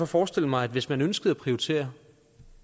forestillet mig at hvis man ønskede at prioritere